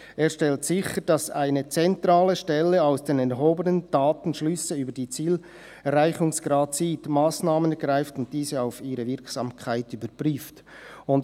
Er stellt sicher, dass eine zentrale Stelle aus den erhobenen Daten Schlüsse über den Zielerreichungsgrad zieht, Massnahmen ergreift und diese auf ihre Wirksamkeit überprüft.»